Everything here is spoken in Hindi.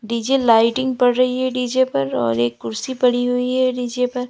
डी_जे लाइटिंग पड़ रही है डी_जे पर और एक कुर्सी पड़ी हुई है डी_जे पर।